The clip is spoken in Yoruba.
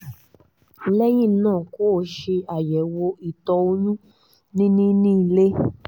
lẹ́yìn náà kó o ṣe àyẹ̀wò ìtọ̀ oyún níní ní ilé